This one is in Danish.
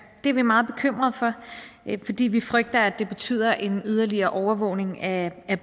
det er vi meget bekymrede for fordi vi frygter at det betyder en yderligere overvågning af